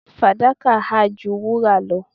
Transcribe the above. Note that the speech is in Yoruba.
fadaka ha ju wura lo